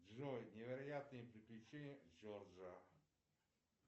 джой невероятные приключения джорджа